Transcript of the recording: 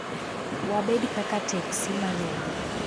Wabed kaka teksi maluwo